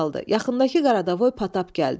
Yaxındakı Qaradavoy Patap gəldi.